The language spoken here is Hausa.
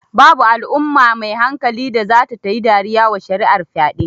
Babu Al'umma mai hankali da zata tayi dariya wa shari'ar fyaɗe